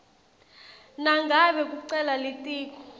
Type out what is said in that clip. nangabe kucela litiko